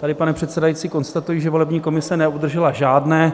Tady, pane předsedající, konstatuji, že volební komise neobdržela žádné